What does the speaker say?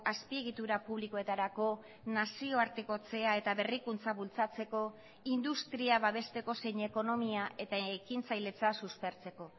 azpiegitura publikoetarako nazioartekotzea eta berrikuntza bultzatzeko industria babesteko zein ekonomia eta ekintzailetza suspertzeko